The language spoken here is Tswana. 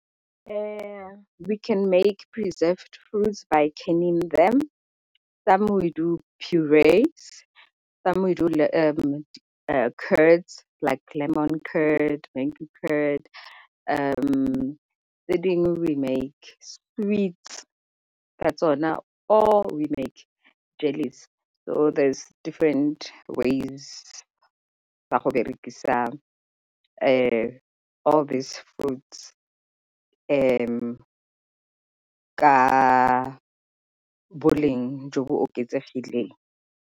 We can make preserved fruits by canning them some we do , some we do like lemon tse dingwe we make ka tsona or we make jellies. So there is different ways tsa go berekisa all these fruits ka boleng jo bo oketsegileng.